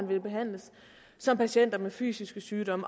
vil behandles som patienter med fysiske sygdomme